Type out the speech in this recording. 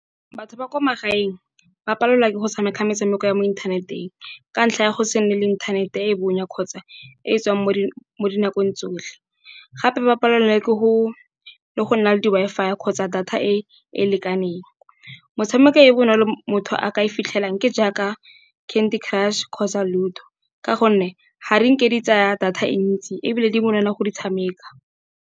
Batho ba kwa magaeng ba palelwa ke go tshameka metshameko ya mo inthaneteng, ka ntlha ya go se nne le inthanete e bonya kgotsa e tswang mo dinakong tsotlhe. Gape ba palelwa ke go le go nna le di Wi-Fi i kgotsa data e e lekaneng, motshameko e bonolo motho a ka e fitlhelang ke jaaka candy crush kgotsa ludo, ka gonne ga di ke di tsaya data e ntsi, ebile di bonolo go di tshameka.